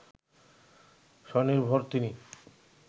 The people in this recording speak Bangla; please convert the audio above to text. স্বনির্ভর তিনি